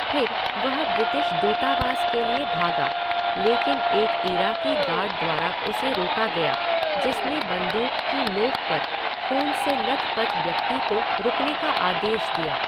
फिर वह ब्रिटिश दूतावास के लिए भागा, लेकिन एक इराकी गार्ड द्वारा उसे रोका गया जिसने बंदूक की नोक पर ख़ून से लथपथ व्यक्ति को रुकने का आदेश दिया।